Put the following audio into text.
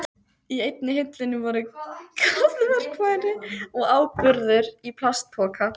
Í einni hillunni voru garðverkfæri og áburður í plastpoka.